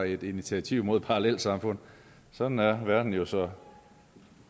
et initiativ mod parallelsamfund sådan er verden jo så